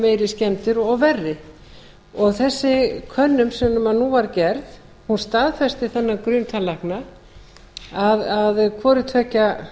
meiri skemmdir og verri þessi könnun sem nú var gerð staðfesti þennan grun tannlækna að hvorutveggja